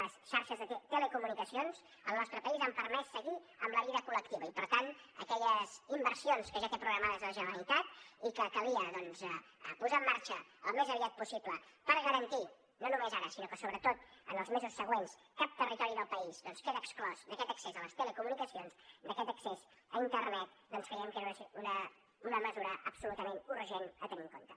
les xarxes de telecomunicacions al nostre país han permès seguir amb la vida col·lectiva i per tant aquelles inversions que ja té programades la generalitat i que calia posar en marxa al més aviat possible per garantir no només ara sinó que sobretot en els mesos següents cap territori del país queda exclòs d’aquest accés a les telecomunicacions d’aquest accés a internet doncs creiem que era una mesura absolutament urgent a tenir en compte